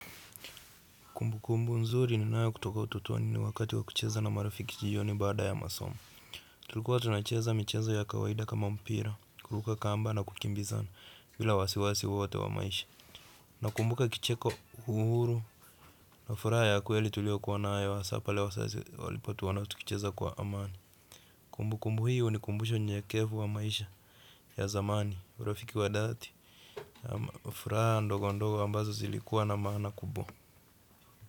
Kumbukumbu nzuri ninayo kutoka utotoni ni wakati wa kucheza na marafiki jioni baada ya masomo. Tulikuwa tunacheza michezo ya kawaida kama mpira, kuruka kamba na kukimbizana bila wasiwasi wowote wa maisha. Nakumbuka kicheko uhuru na furaha ya kweli tuliokuwa nayo hasa pale wazazi walipotuona tukicheza kwa amani. Kumbukumbu hiyo ni kumbusho nyekevu wa maisha ya zamani, urafiki wa dhati. Furaha ndogo ndogo ambazo zilikuwa na maana kubwa.